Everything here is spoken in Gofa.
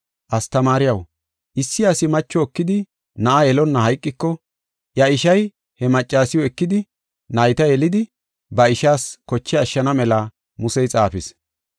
“Astamaariyaw, issi asi macho ekidi na7a yelonna hayqiko, iya ishay he maccasiw ekidi nayta yelidi ba ishaas koche ashshana mela Musey xaafis.